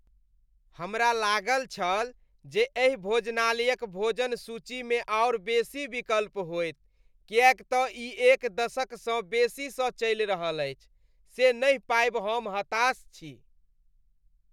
हमरा लागल छल जे एहि भोजनालयक भोजन सूचीमे आओर बेसी विकल्प होयत किएक तँ ई एक दशकसँ बेसीसँ चलि रहल अछि। से नहि पाबि हम हताश छी।